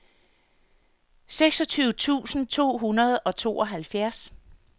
seksogtyve tusind to hundrede og tooghalvfjerds